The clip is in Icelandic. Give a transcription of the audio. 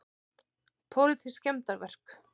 Pólitísk skemmdarverk